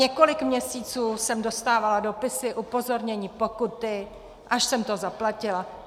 Několik měsíců jsem dostávala dopisy, upozornění, pokuty, až jsem to zaplatila.